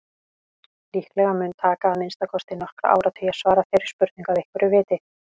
Líklega mun taka að minnsta kosti nokkra áratugi að svara þeirri spurningu að einhverju viti.